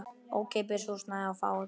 Ókeypis húsnæði og fæði.